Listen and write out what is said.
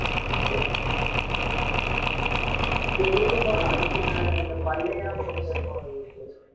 தெலுங்கு படம் அதுக்கு மேல இந்த பல்லையான்னு ஒருத்தன் இருப்பான் விவேக்